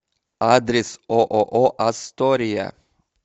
адрес ооо астория